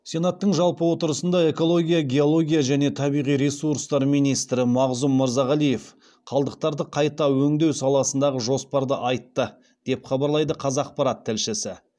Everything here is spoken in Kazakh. сенаттың жалпы отырысында экология геология және табиғи ресурстар министрі мағзұм мырзағалиев қалдықтарды қайта өңдеу саласындағы жоспарды айтты деп хабарлайды қазақпарат тілшісі